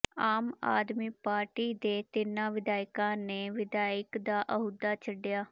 ਆਮ ਆਦਮੀ ਪਾਰਟੀ ਦੇ ਤਿੰਨਾਂ ਵਿਧਾਇਕਾਂ ਨੇ ਵਿਧਾਇਕ ਦਾ ਅਹੁਦਾ ਛੱਡਿਆ